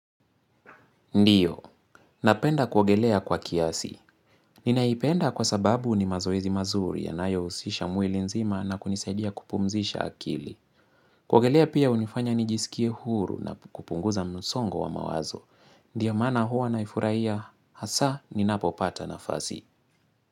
Ndio, napenda kuogelea kwa kiasi. Ninaipenda kwa sababu ni mazoezi mazuri ya nayo usisha mwili nzima na kunisaidia kupumzisha akili. Kuogelea pia unifanya ni jiskie huru na kupunguza msongo wa mawazo. Ndio mana huwa naifurahia, hasa ni napopata nafasi.